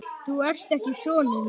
Þú ert ekki sonur minn.